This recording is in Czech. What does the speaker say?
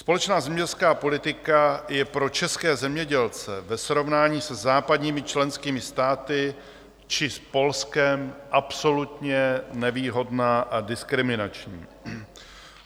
Společná zemědělská politika je pro české zemědělce ve srovnání se západními členskými státy či s Polskem absolutně nevýhodná a diskriminační.